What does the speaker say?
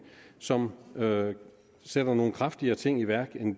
som sætter nogle kraftigere ting i værk end